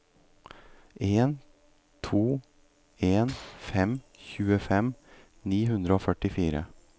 en to en fem tjuefem ni hundre og førtifire